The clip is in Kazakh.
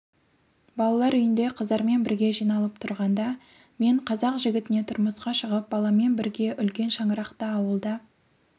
балалар үйінде қыздармен бірге жиналып отырғанда мен қазақ жігітіне тұрмысқа шығып баламен бірге үлкен шаңырақта ауылда